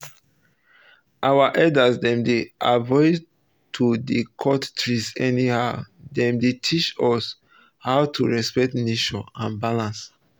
our elders dem dey avoid to dey cut trees anyhow dem dey teach us um how to respect nature and balance